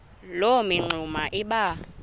loo mingxuma iba